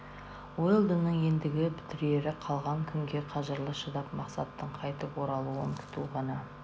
уэлдонның ендігі бітірері қалған күнге қажырлы шыдап мақсаттың қайтып оралуын күту ғана